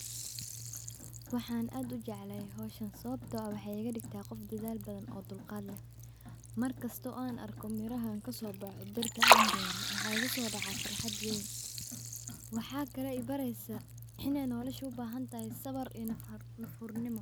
Waxan aad ujeclaha howshan sawabto ah wexey igadigta qof oo dadaal badan oo dulqad lleh markasto oo an arko meraha kasobexe waxa bere waxa kale ibareysa sabar iyo nufurnimo.